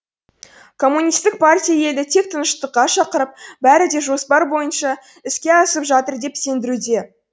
коммунистік партия елді тек тыныштыққа шақырып бәрі де жоспар бойынша іске асып жатыр деп сендіруде